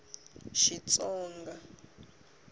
xitsonga